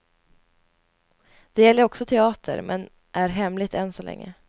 Det gäller också teater, men är hemligt än så länge.